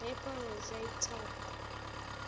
lapel rosette top